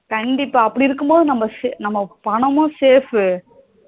கண்டிப்பா அப்படி இருக்கும் போது நம்ம பணமும் safe